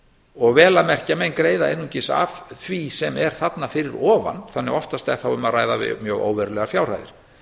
og vel að merkja menn greiða einungis af því sem þarna fyrir ofan þannig að oftast er þá um að ræða mjög óverulegar fjárhæðir